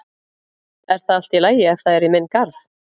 Er það allt í lagi ef það er í minn garð?